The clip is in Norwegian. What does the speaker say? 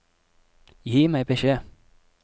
Gi meg beskjed